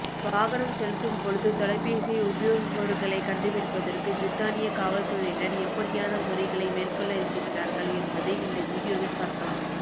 வாகனம் செலுத்தும்பொழுது தொலைபேசியை உபயோகிப்பவர்களைக் கண்டுபிடிப்பதற்கு பிரித்தானியக் காவல்துறையினர் எப்படியான முறைகளை மேற்கொள்ள இருக்கின்றார்கள் என்பதை இந்த வீடியோவில் பார்க்கலாம்